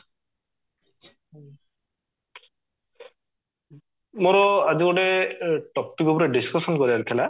ମୋର ଆଜି ଗୋଟେ topic ଉପରେ discussion କରିବାର ଥିଲା